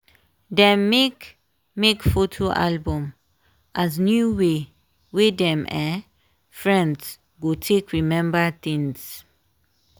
dem make make photo album as new way wey dem um friends go take remember things.